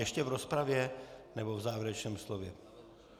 Ještě v rozpravě, nebo v závěrečném slově?